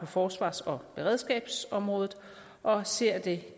forsvars og beredskabsområdet og ser det